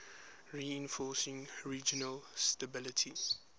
reinforcing regional stability